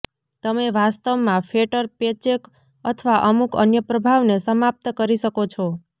તમે વાસ્તવમાં fatter paycheck અથવા અમુક અન્ય પ્રભાવને સમાપ્ત કરી શકો છો